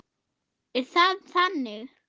Er það þannig?